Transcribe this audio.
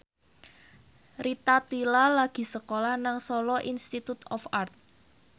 Rita Tila lagi sekolah nang Solo Institute of Art